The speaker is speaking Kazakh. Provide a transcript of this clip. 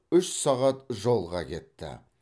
үш сағат жолға кетті